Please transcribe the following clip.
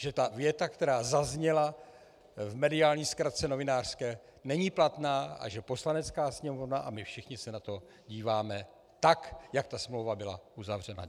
Že ta věta, která zazněla v mediální zkratce novinářské, není platná, a že Poslanecká sněmovna a my všichni se na to díváme tak, jak ta smlouva byla uzavřena.